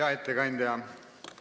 Hea ettekandja ...